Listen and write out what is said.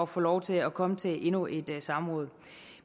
få lov til at komme til endnu et samråd